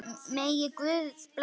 Megi Guð blessa ykkur öll.